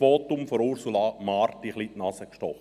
Das Votum von Ursula Marti hat mir in die Nase gestochen.